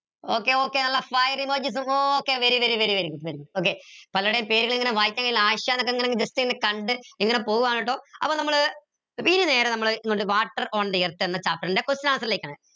okay okay നല്ല fire emojis okay very very very okay പലരുടെയും പേരുകൾ ഇങ്ങനെ വായിക്കാൻ കയീല ആയിഷ എന്നൊക്കെ ഇങ്ങനെ just ഇങ്ങനെ കണ്ട് ഇങ്ങനെ പോവാണ് ട്ടോ അപ്പൊ നമ്മൾ ഇനി നേരെ നമ്മൾ water on the earth എന്ന chapter ൻ്റെ question answer ലേക്കാണ്